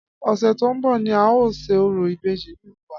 Ọ̀sẹ̀ tó ń bọ̀ ni a óò ṣe orò ìbejì nílùú wa